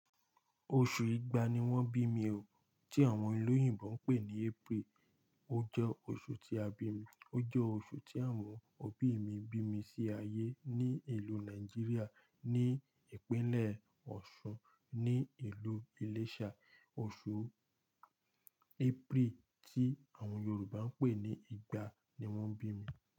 Oṣù ìgbà ni wọ́n bí mi o. Tí àwọn ìlú òyìnbó ń pè ní April, ó jẹ́ oṣù tí a bi mí, ó jẹ́ oṣù tí àwọn òbí mi bí mi sí ayé ní ìlú Nàìjíríà ní ìpínlẹ̀ Ọ̀ṣun, ní ìlú Iléṣà. Oṣù April tí àwọn Yorùbá ń pè ní ìgbà ni wọ́n bí mi.